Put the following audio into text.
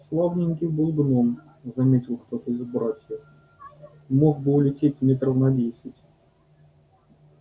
славненький был гном заметил кто-то из братьев мог бы улететь метров на десять